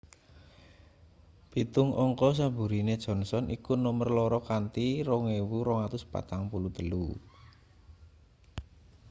pitung angka saburine johnson iku nomer loro kanthi 2.243